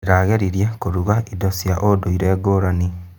Ndĩrageririe kũruga irio cia ũndũire ngũrani.